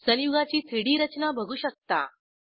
संयुगाची 3डी रचना बघू शकता